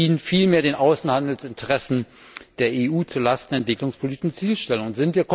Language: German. Es dient vielmehr den Außenhandelsinteressen der EU zu Lasten der entwicklungspolitischen Zielstellungen.